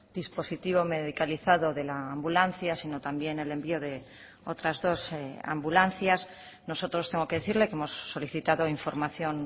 dispositivo medicalizado de la ambulancia sino también el envío de otras dos ambulancias nosotros tengo que decirle que hemos solicitado información